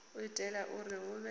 u itela uri hu vhe